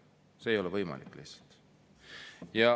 See lihtsalt ei ole võimalik.